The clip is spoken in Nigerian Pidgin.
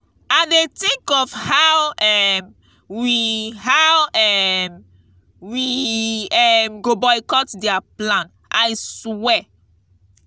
i dey think of how um we how um we um go boycott their plan i swear.